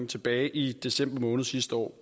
tilbage i december måned sidste år